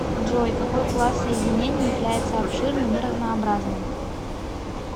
джой какой класс соединений является обширным и разнообразным